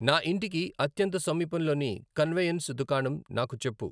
నా ఇంటికి అత్యంత సమీపంలోని కన్వెయన్స్ దుకాణం నాకు చెప్పు